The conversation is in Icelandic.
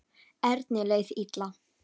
Erni leið illa.